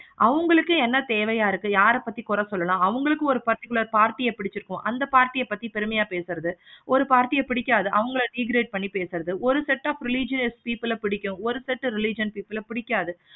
அவங்களுக்கு என்ன தேவையா இருக்கு. யாரை பத்தி கூற சொல்லலாம். அவங்களுக்கு ஒரு particular party ஆஹ் பிடிச்சிருக்கு. அந்த party ஆஹ் பத்தி பெருமையை பேசுறது ஒரு party யா பிடிக்காது. அவங்கள degrade பண்ணி பேசுறது ஒரு set of religious people ஆஹ் பிடிக்கும். ஒரு set of religious people பிடிக்காது.